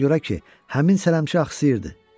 Ona görə ki, həmin sələmçi axsayırdı.